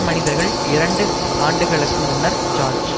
மனிதர்கள் இரண்டு ஆண்டுகளுக்கு முன்னர் ஜோர்ஜ்